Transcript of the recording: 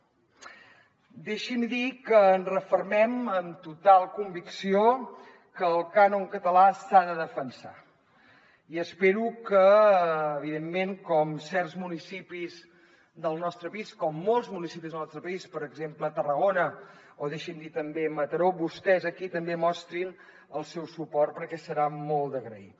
deixi’m dir que ens refermem amb total convicció que el cànon català s’ha de defensar i espero que evidentment com certs municipis del nostre país com molts municipis del nostre país per exemple tarragona o deixi’m dir també mataró vostès aquí també mostrin el seu suport perquè serà molt d’agrair